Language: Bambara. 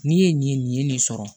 N'i ye nin ye nin sɔrɔ